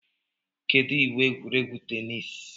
Kedu iwu egwuregwu teniisi?